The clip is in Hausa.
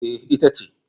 E, ita ce.